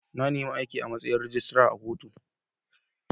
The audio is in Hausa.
Na nima aiki a' matsayin rijistira da kotu.